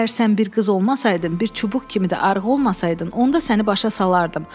Əgər sən bir qız olmasaydın, bir çubuq kimi də arıq olmasaydın, onda səni başa salardım.